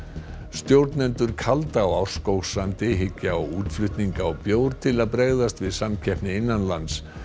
stjórnendur kalda á Árskógssandi hyggja á útflutning á bjór til að bregðast við samkeppni innanlands